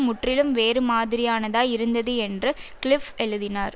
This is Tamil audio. முற்றிலும் வேறு மாதிரியானதாய் இருந்தது என்று கிளிஃப் எழுதினார்